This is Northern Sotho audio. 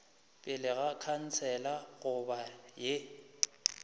pele ga khansele goba ye